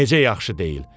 Necə yaxşı deyil?